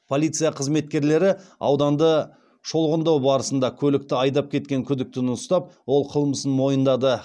полиция қызметкерлері ауданды шолғындау барысында көлікті айдап кетен күдіктіні ұстап ол қылмысын мойындады